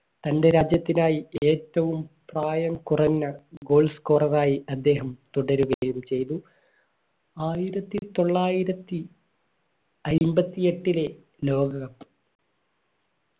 തന്റെ രാജ്യത്തിനായി ഏറ്റവും പ്രായം goal scorer ആയി അദ്ദേഹം തുടരുകയും ചെയ്തു ആയിരത്തിത്തൊള്ളായിരത്തി അയ്ബത്തി ഏട്ടിലെ ലോക cup